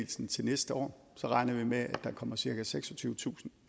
til næste år så regner vi med at der kommer cirka seksogtyvetusind